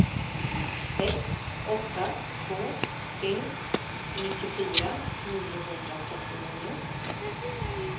sex åtta två tre nittiofyra niohundratrettionio